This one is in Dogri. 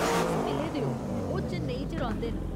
तुस मिले दे ओ, ओह् चेन्नई च रौंह्दे न।